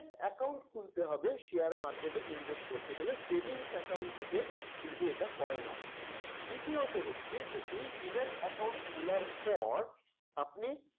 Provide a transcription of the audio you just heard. account খুলতে হবে share market এ invest করতে গেলে savings account থেকে কিন্তু এটা হয়না।